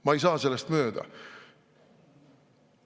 Ma ei saa sellest mööda.